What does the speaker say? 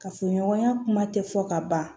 Kafoɲɔgɔnya kuma tɛ fɔ ka ban